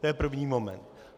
To je první moment.